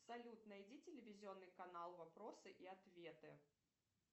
салют найди телевизионный канал вопросы и ответы